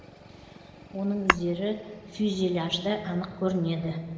оның іздері фюзеляжда анық көрінеді